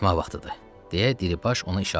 Deyə Dilibaş ona işarə elədi.